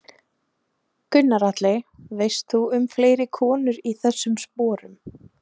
Gunnar Atli: Veist þú um fleiri konur í þessum sporum?